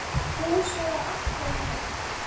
Fúsi var alltaf með